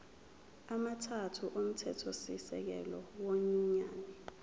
amathathu omthethosisekelo wenyunyane